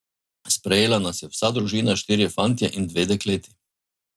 Sprejela nas je vsa družina, štirje fantje in dve dekleti.